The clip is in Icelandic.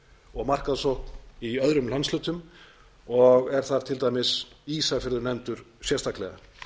og markaðssókn í öðrum landshlutum og er þar til dæmis ísafjörður nefndur sérstaklega